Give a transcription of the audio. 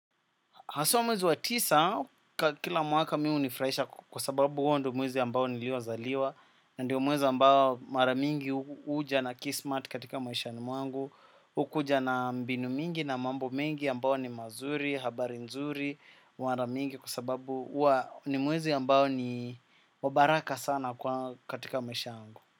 Haswa mwezi wa tisa, kila mwaka mimi hunifurahisha kwa sababu huo ndo mwezi ambao nilio zaliwa. Ndiyo mwezi ambao mara mingi huja na kismat katika maishani mwangu hukuja na mbinu mingi na mambo mengi ambao ni mazuri, habari nzuri, mara mingi kwa sababu uwa ni mwezi ambao ni wa baraka sana katika maisha yangu.